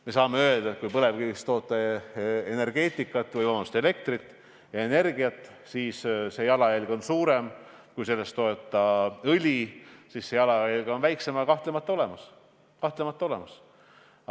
Me saame öelda, et kui toota põlevkivist elektrit ja energiat, siis on jalajälg suurem kui siis, kui sellest toota õli – sellisel juhul on jalajälg väiksem, aga kahtlemata on see olemas.